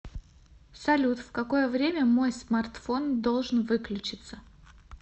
салют в какое время мой смартфон должен выключиться